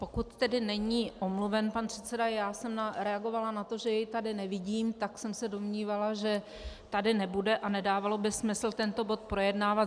Pokud tedy není omluven pan předseda - já jsem reagovala na to, že jej tady nevidím, tak jsem se domnívala, že tady nebude a nedávalo by smysl tento bod projednávat.